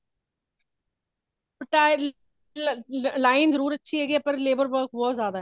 line ਜਰੂਰ ਅੱਛੀ ਹੈਗੀ ਹੈਂ but labor work ਬਹੁਤ ਜ਼ਿਆਦਾ ਵੇ।